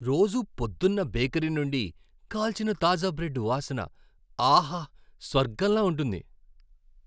రోజూ పొద్దున్న బేకరీ నుండి కాల్చిన తాజా బ్రెడ్డు వాసన ఆహా! స్వర్గంలా ఉంటుంది.